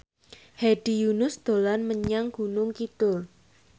Hedi Yunus dolan menyang Gunung Kidul